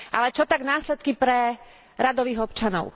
Ale čo tak následky pre radových občanov?